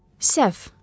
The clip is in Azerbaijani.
Səhv.